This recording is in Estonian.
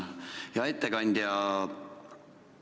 Hea ettekandja!